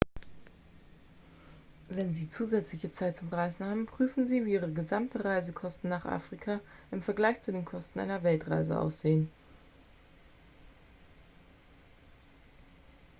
wenn sie zusätzliche zeit zum reisen haben prüfen sie wie ihre gesamten reisekosten nach afrika im vergleich zu den kosten einer weltreise aussehen